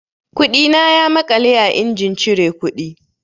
Kuɗina ya maƙale a injin cire kuɗi.